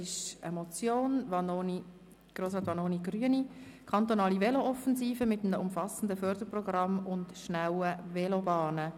«Kantonale Velo-Offensive – mit einem umfassenden Förderprogramm und schnellen Velobahnen».